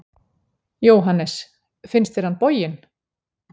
Jóhannes: Finnst þér hann boginn?